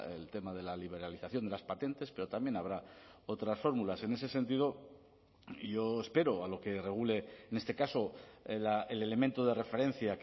el tema de la liberalización de las patentes pero también habrá otras fórmulas en ese sentido yo espero a lo que regule en este caso el elemento de referencia